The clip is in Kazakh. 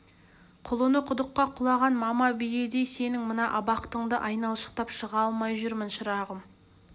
құлыны құдыққа құлаған мама биедей сенің мына абақтыңды айналшықтап шыға алмай жүрмін шырағым